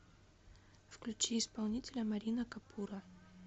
включи исполнителя марина капуро